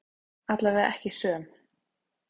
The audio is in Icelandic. Allavega ekki söm.